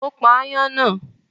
Ó pa aáyán náà?